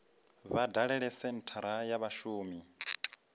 vha dalele senthara ya vhashumi